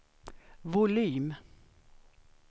volym